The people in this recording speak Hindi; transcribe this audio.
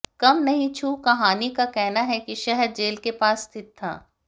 कम नहीं छू कहानी का कहना है कि शहर जेल के पास स्थित था